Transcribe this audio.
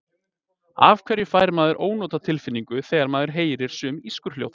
Af hverju fær maður ónotatilfinningu þegar maður heyrir sum ískurhljóð?